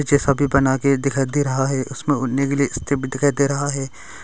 पीछे सभी बना के दिखाई दे रहा है उसमें उड़ने के लिए एक दिखाई दे रहा है।